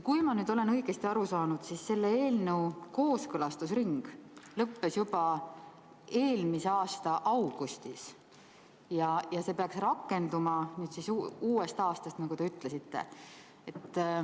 Kui ma olen õigesti aru saanud, siis selle eelnõu kooskõlastusring lõppes juba eelmise aasta augustis, ja see peaks rakenduma uuest aastast, nagu te ütlesite.